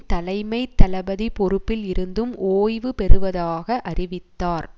தலைமை தளபதி பொறுப்பில் இருந்தும் ஓய்வு பெறுவதாக அறிவித்தார்